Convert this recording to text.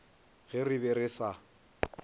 ge re be re sa